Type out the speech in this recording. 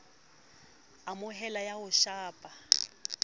a amoheleha ya ho shapa